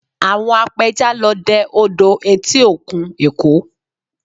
Àwọn apẹja lọ dẹ odò etí òkun Èkó